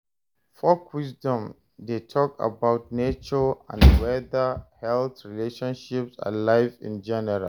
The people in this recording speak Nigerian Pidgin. Folk wisdom de talk about nature and weather, health, relationships and life in general